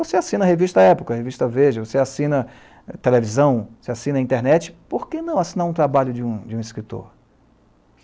Você assina a revista Época, a revista Veja, você assina a televisão, você assina a internet, por que não assinar um trabalho de um escritor?